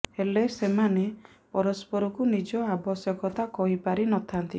ହେଲେ ସେମାନେ ପରସ୍ପରକୁ ନିଜ ଆବଶ୍ୟକତା କହିପାରି ନ ଥାନ୍ତି